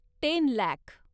ten lakh